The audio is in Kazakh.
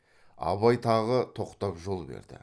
абай тағы тоқтап жол берді